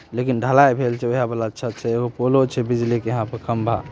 लेकिन ढलाई भैइल छै वही वाला अच्छा छै एगो पोलो छै बिजली के यहाँ पे खम्बा।